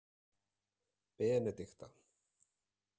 Benedikta